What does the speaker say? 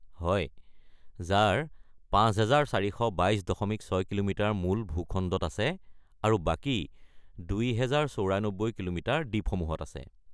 হয়, যাৰ ৫৪২২.৬ কিমি মূল ভুখণ্ডত আছে আৰু বাকী ২০৯৪ কিলোমিটাৰ দ্বীপসমূহত আছে।